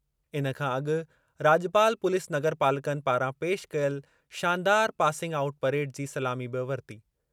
इन खां अॻु राॼपाल पुलिस नगरपालकनि पारां पेशि कयल शानदार पासिंग आउट परेड जी सलामी बि वरिती।